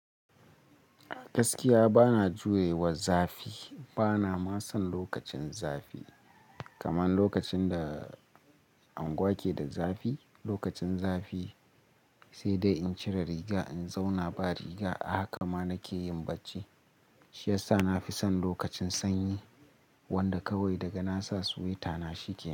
Gaskiya bana juye wa zafi. Bana ma son lokacin zafi. Kaman lokacin da anguwa keda zafi, lokacin zafi sai dai in cire riga, in zauna ba riga. A haka ma nake yin bacci. Shi yasa nafi son lokacin sanyi wanda kawai daga na sa swita na shi kenan.